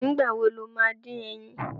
Nìgbà wo lo ma dín ẹyin?